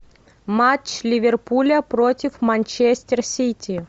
матч ливерпуля против манчестер сити